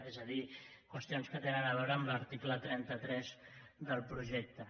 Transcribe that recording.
és a dir qüestions que tenen a veure amb l’article trenta tres del projecte